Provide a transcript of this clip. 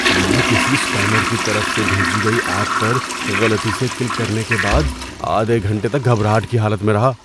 میں کسی اسپیمر کی طرف سے بھیجی گئی ایپ پر غلطی سے کلک کرنے کے بعد آدھے گھنٹے تک گھبراہٹ کی حالت میں رہا۔